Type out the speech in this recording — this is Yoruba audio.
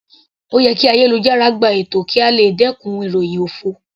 Ó yẹ kí ayélujára gbogbo gba ètò kí a lè dẹkùn ìròhìn òfo.